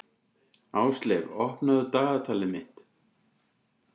Ásleif, opnaðu dagatalið mitt.